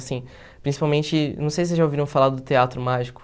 Assim, principalmente, não sei se vocês já ouviram falar do Teatro Mágico.